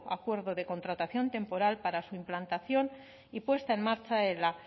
acuerdo de contratación temporal para su implantación y puesta en marcha